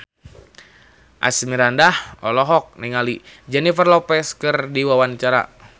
Asmirandah olohok ningali Jennifer Lopez keur diwawancara